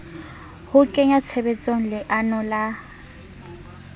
ho kenya tshebetsong leano la